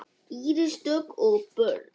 Íris Dögg og börn.